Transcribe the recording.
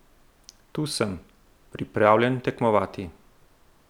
Tu sem, pripravljen tekmovati.